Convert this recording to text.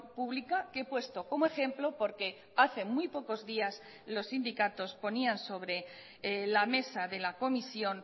pública que he puesto como ejemplo porque hace muy pocos días los sindicatos ponían sobre la mesa de la comisión